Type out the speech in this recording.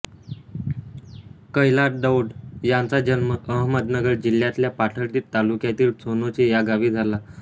कैलास दौंड यांचा जन्म अहमदनगर जिल्ह्यातल्या पाथर्डी तालुक्यातील सोनोशी या गावी झाला